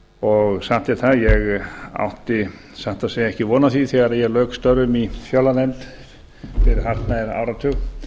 og satt er það ég átti satt að segja ekki von á því þegar ég lauk störfum í fjárlaganefnd fyrir hartnær áratug að